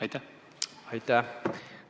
Aitäh!